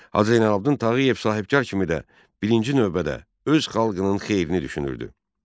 Hacı Zeynalabdin Tağıyev sahibkar kimi də birinci növbədə öz xalqının xeyrini düşünürdü.